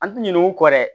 An ti ɲinɛ u kɔ dɛ